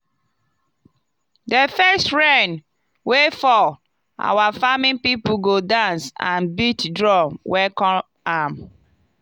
the first rain wey fall our farming people go dance and beat drum welcome am.